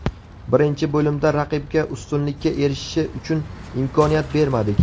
Birinchi bo‘limda raqibga ustunlikka erishishi uchun imkoniyat bermadik.